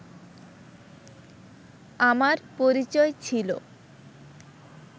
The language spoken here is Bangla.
আমার পরিচয় ছিল